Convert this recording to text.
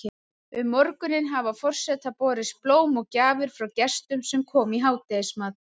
Um morguninn hafa forseta borist blóm og gjafir frá gestum sem koma í hádegismat.